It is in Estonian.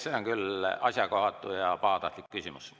See oli küll asjakohatu ja pahatahtlik küsimus.